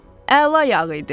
Əla yağı idi.